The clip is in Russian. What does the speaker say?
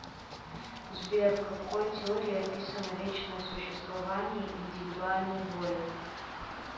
сбер в какой теории описано вечное существование индивидуальной воли